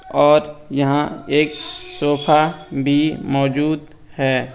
और यहाँ एक सोफा भी मौजूद है।